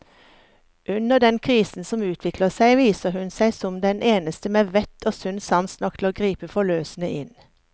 Under den krisen som utvikler seg, viser hun seg som den eneste med vett og sunn sans nok til å gripe forløsende inn.